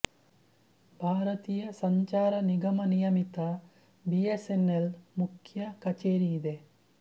ಭಾರತೀಯ ಸಂಚಾರ ನಿಗಮ ನಿಯಮಿತ ಬಿ ಎಸ್ ಎನ್ ಎಲ್ದ ಮುಖ್ಯ ಕಚೇರಿಯಿದೆ